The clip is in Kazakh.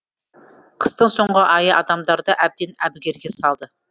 қыстың соңғы айы адамдарды әбден әбігерге салды